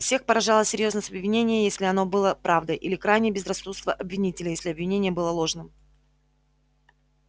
всех поражала серьёзность обвинения если оно было правдой или крайнее безрассудство обвинителей если обвинение было ложным